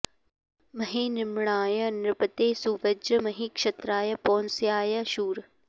म॒हे नृ॒म्णाय॑ नृपते सुवज्र॒ महि॑ क्ष॒त्राय॒ पौंस्या॑य शूर